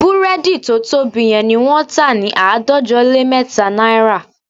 Búrẹ́dì tó tóbi yẹn ni wọ́n tà ní àádọ́jọ lé mẹ́ta náírà